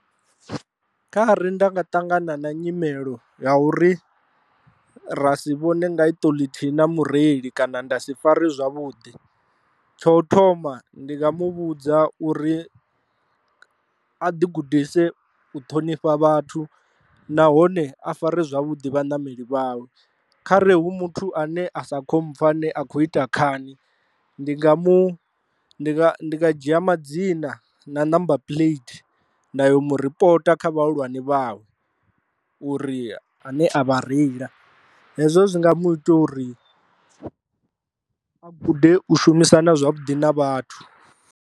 Kha ri nda nga ṱangana na nyimelo ya uri ra si vhone nga iṱo ḽithihi na mureili kana nda si fare zwavhuḓi, tsho thoma ndi nga muvhudza uri a ḓi gudise u ṱhonifha vhathu nahone a fare zwavhuḓi vhaṋameli vhawe, khare hu muthu ane a sa khompfha ane a khou ita khani ndi nga mu ndi nga dzhia madzina na namba puḽeite nda ya u mu ripota kha vhahulwane vhawe uri a ne a vha reila hezwo zwi nga muthu uri a gude u shumisana zwavhuḓi na vhathu.